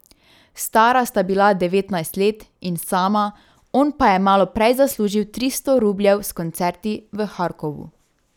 Stara sta bila devetnajst let in sama, on pa je malo prej zaslužil tristo rubljev s koncerti v Harkovu.